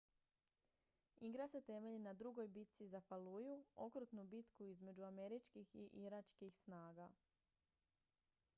igra se temelji na drugoj bitci za falluju okrutnu bitku između američkih i iračkih snaga